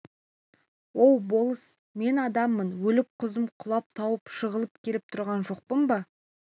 оу болыс мен адамым өліп құзым құлап тауым жығылып келіп тұрған жоқпын ба